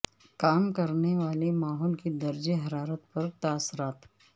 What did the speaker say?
کام کرنے والے ماحول کے درجہ حرارت پر تاثرات